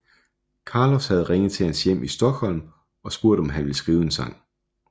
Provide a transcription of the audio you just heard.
Carlos havde ringet til hans hjem i Stockholm og spurgt om han ville skrive en sang